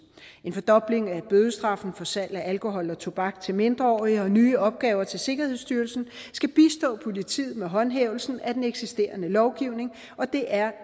en fordobling af bødestraffen for salg af alkohol og tobak til mindreårige og nye opgaver til sikkerhedsstyrelsen skal bistå politiet med håndhævelsen af den eksisterende lovgivning og det er